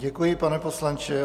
Děkuji, pane poslanče.